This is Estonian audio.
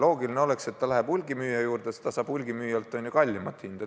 Loogiline oleks, et väike apteek läheb hulgimüüja juurde ja saab hulgimüüjalt kallima hinnaga kaupa.